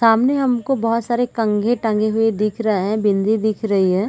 सामने हमको बहोत सारे कंघी टंगे हुए दिख रहै है बिंदी दिख रही है।